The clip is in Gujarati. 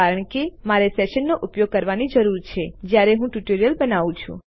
કારણ કે મારે સેશન્સનો ઉપયોગ કરવાની જરૂર છે જ્યારે હું ટ્યુટોરિયલ બનાવું છું